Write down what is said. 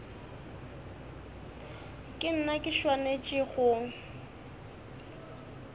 ke nna ke swanetšego go